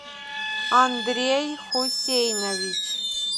андрей хусейнович